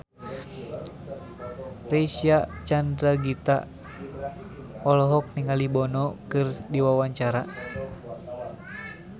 Reysa Chandragitta olohok ningali Bono keur diwawancara